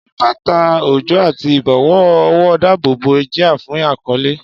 Ṣé bàtà òjò àti ìbọ̀wọ́ ọwọ́ dáàbò bo jia fún ìkọ́lé?